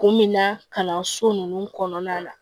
Kun min na kalanso ninnu kɔnɔna na